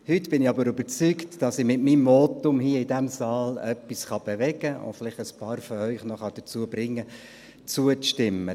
Heute bin ich aber überzeugt, dass ich mit meinem Votum hier im Grossen Rat etwas bewegen und vielleicht einige von Ihnen noch dazu bringen kann, zuzustimmen.